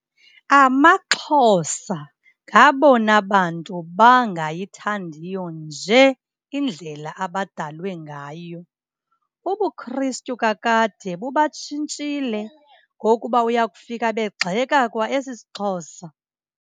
AmaXhosa ngabona bantu bangayithandiyo nje indlela abadalwe ngayo. UbuKristu kakade bubatshintshile ngokuba uya kufika begxeka kwa esisiXhosa.